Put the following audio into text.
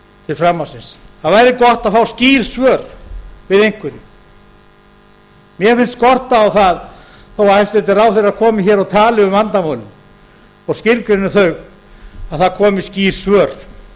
við það væri gott að fá skýr svör við einhverju mér finnst skorta á það þó hæstvirtir ráðherrar komi og tali um vandamálin og skilgreini þau að það komi skýr svör